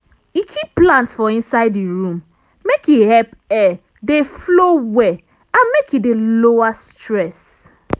e keep plant for inside e room make e help air dey flow well and make e dey lower stress.